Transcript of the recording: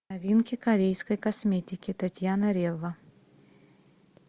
новинки корейской косметики татьяна рева